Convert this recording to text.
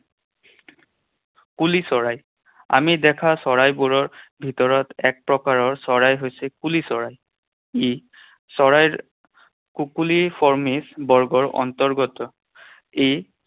কুলি চৰাই। আমি দেখা চৰাইবোৰৰ ভিতৰত এক প্ৰকাৰৰ চৰাই হৈছে কুলি চৰাই। ই চৰাইৰ কুকুলি ফৰ্মিস বৰ্গৰ অন্তৰ্গত। ই